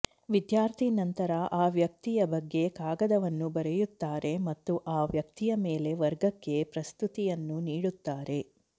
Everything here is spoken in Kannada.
ವಿದ್ಯಾರ್ಥಿ ನಂತರ ಆ ವ್ಯಕ್ತಿಯ ಬಗ್ಗೆ ಕಾಗದವನ್ನು ಬರೆಯುತ್ತಾರೆ ಮತ್ತು ಆ ವ್ಯಕ್ತಿಯ ಮೇಲೆ ವರ್ಗಕ್ಕೆ ಪ್ರಸ್ತುತಿಯನ್ನು ನೀಡುತ್ತಾರೆ